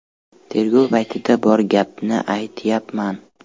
Tergov paytida bor gapni aytyapman.